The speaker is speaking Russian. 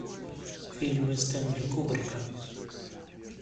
фильмы стенли кубрика